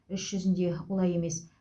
іс жүзінде олай емес